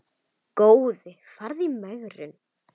Góði farðu í megrun.